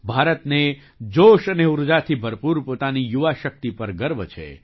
ભારતને જોશ અને ઊર્જાથી ભરપૂર પોતાની યુવા શક્તિ પર ગર્વ છે